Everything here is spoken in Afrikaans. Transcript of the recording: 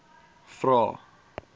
vvvvrae